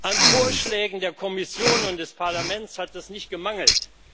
An Vorschlägen der Kommission und des Parlaments hat es nicht gemangelt.